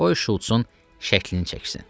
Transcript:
Qoy Şults-un şəklini çəksin.